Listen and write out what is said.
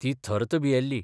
ती थर्त भियेल्ली.